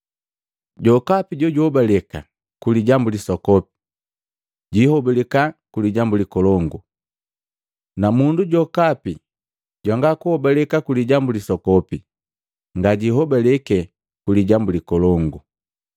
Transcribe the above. Jokapi jojuhobaleka ku lijambu lisoko, jiihobalika ku lijambu likolongu, na mundu jokapi jwanga kuhobaleka ku lijambu lisoku, ngajihobaliki ku lijambu likolongo.